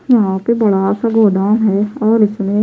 यहाँ पे बड़ाााा सा गोदाम है और इसमें --